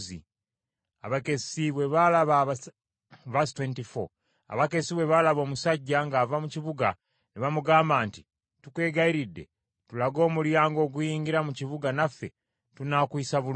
Abakessi bwe baalaba omusajja ng’ava mu kibuga ne bamugamba nti, “Tukwegayiridde tulage omulyango oguyingira mu kibuga naffe tunaakuyisa bulungi.”